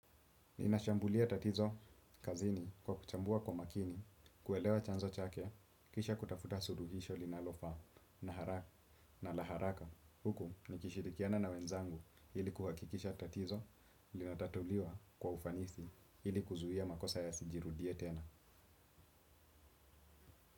Ninashambulia tatizo kazini kwa kuchambua kwa makini, kuelewa chanzo chake, kisha kutafuta suluhisho linalofaa na la haraka. Huku nikishirikiana na wenzangu ili kuhakikisha tatizo linatatuliwa kwa ufanisi ili kuzuia makosa yasijirudie tena.